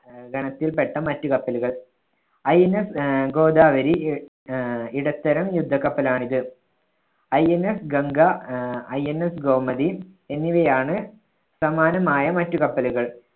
അഹ് ഗണത്തിൽപ്പെട്ട മറ്റ് കപ്പലുകൾ. INS ആഹ് ഗോദാവരി ആഹ് ഇടത്തരം യുദ്ധക്കപ്പലാണിത്. INS ഗംഗ, ആഹ് INS ഗോമതി എന്നിവയാണ് സമാനമായ മറ്റ് കപ്പലുകൾ.